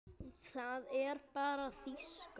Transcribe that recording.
Það er bara þýska.